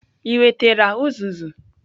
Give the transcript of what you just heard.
Ị wetara uzuzu?